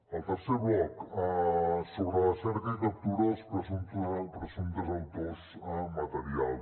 el tercer bloc sobre la cerca i captura dels presumptes autors materials